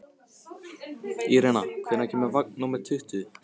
Irena, hvenær kemur vagn númer tuttugu?